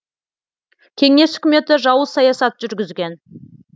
кеңес үкіметі жауыз саясат жүргізген